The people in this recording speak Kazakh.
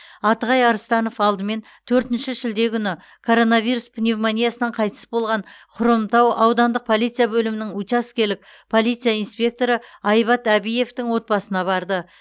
атығай арыстанов алдымен төртінші шілде күні коронавирус пневмониясынан қайтыс болған хромтау аудандық полиция бөлімінің учаскелік полиция инспекторы айбат әбиевтің отбасына барды